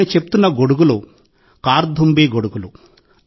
నేను చెప్తున్న గొడుగులు 'కార్థుంబీ గొడుగులు'